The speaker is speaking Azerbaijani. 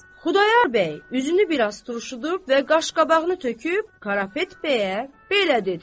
Xudayar bəy üzünü biraz turşudub və qaşqabağını töküb Karapet bəyə belə dedi: